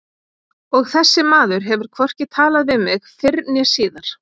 Og þessi maður hefur hvorki talað við mig fyrr né síðar.